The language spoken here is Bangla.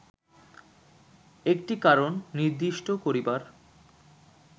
একটি কারণ নির্দিষ্ট করিবার